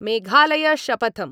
Meghalaya शपथम्